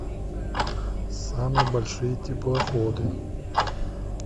самые большие теплоходы